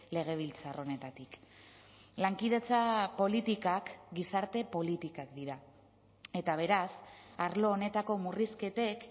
legebiltzar honetatik lankidetza politikak gizarte politikak dira eta beraz arlo honetako murrizketek